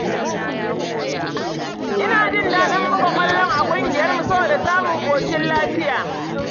Ina jin daɗin buga ƙwallon a ƙungiyarmu saboda samun ƙoshin lafiya.